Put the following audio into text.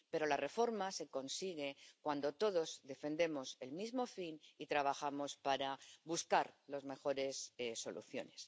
Pero la reforma se consigue cuando todos defendemos el mismo fin y trabajamos para buscar las mejores soluciones.